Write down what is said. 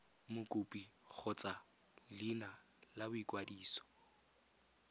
mokopi kgotsa leina la boikwadiso